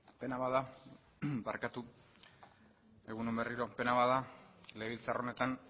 egun on berriro pena bat da legebiltzar honetan